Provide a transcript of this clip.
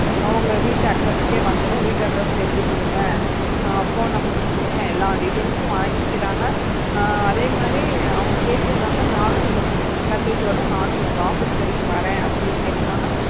அவங்க வீட்டு address க்கு வந்துடும் வீடு address எழுதி குடுங்க ஆஹ் phone numbers குடுங்க எல்லா details வாங்கிக்கிறாங்க. ஆஹ் அதே மாதிரி அவங்க கேட்டிருக்காங்க நானும் இந்த luggage ஓட நானும் உங்க office வரைக்கு வரேன் அப்படின்னு கேட்டிருக்காங்க.